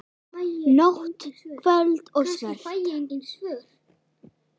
Nóttin köld og svört.